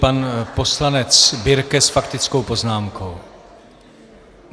Pan poslanec Birke s faktickou poznámkou.